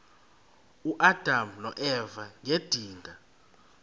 uadam noeva ngedinga